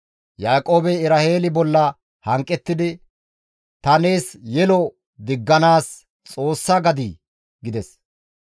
Yaaqoobey Eraheeli bolla hanqettidi, «Tana nees yelo digganaas Xoossa gadii?» gides.